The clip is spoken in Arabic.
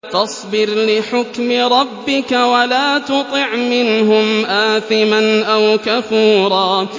فَاصْبِرْ لِحُكْمِ رَبِّكَ وَلَا تُطِعْ مِنْهُمْ آثِمًا أَوْ كَفُورًا